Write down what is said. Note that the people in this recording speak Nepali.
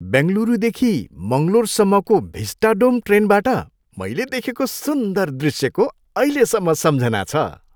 बेङ्गलुरुदेखि मङ्गलोरसम्मको भिस्टाडोम ट्रेनबाट मैले देखेको सुन्दर दृश्यको अहिलेसम्म सम्झना छ।